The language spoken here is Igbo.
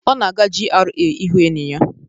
Ọ na-aga GRA ị hụ enyi ya.